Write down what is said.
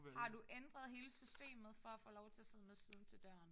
Har du ændret hele systemet for at få lov til at sidde med siden til døren?